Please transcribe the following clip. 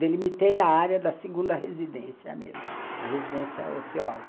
Delimitei a área da segunda residência mesmo, a residência ociosa.